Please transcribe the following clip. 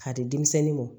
K'a di denmisɛnnin mɔ